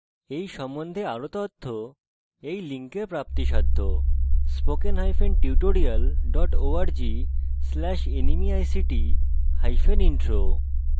এই সম্বন্ধে আরও তথ্য spoken hyphen tutorial dot org slash nmeict hyphen intro ওয়েবসাইটে দেখতে পারেন